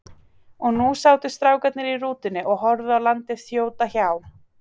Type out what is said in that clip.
Og nú sátu strákarnir í rútunni og horfðu á landið þjóta hjá.